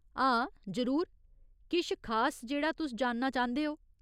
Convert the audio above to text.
हां, जरूर। किश खास जेह्ड़ा तुस जानना चांह्दे ओ?